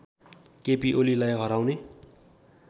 केपी ओलीलाई हराउने